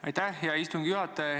Aitäh, hea istungi juhataja!